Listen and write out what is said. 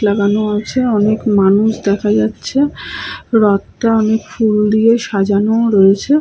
লাগানো আছে। অনেক মানুষ দেখা যাচ্ছে। রথটা অনেক ফুল দিয়ে সাজানো রয়েছে।